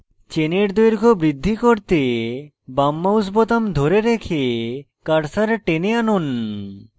চেনের দৈর্ঘ্য বৃদ্ধি করতে বাম mouse বোতাম ধরে রেখে cursor টেনে আনুন